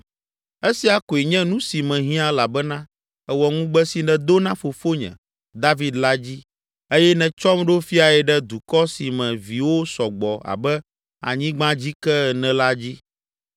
Esia koe nye nu si mehiã elabena èwɔ ŋugbe si nèdo na fofonye, David la dzi eye nètsɔm ɖo Fiae ɖe dukɔ si me viwo sɔ gbɔ abe anyigbadzike ene la dzi!